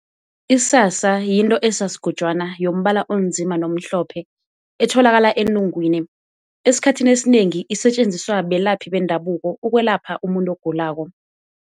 Isasa yinto esasigojwana yombala onzima nomhlophe, etholakala enungwini. Esikhathini esinengi isetjenziswa belaphi bendabuko ukwelapha umuntu ogulako.